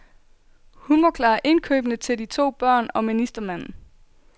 Hun må klare indkøbene til de to børn og ministermanden.